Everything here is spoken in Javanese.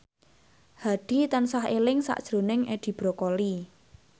Hadi tansah eling sakjroning Edi Brokoli